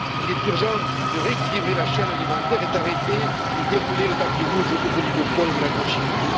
Il est urgent de rééquilibrer la chaîne alimentaire et d'arrêter de dérouler le tapis rouge devant les oligopoles de l'agrochimie.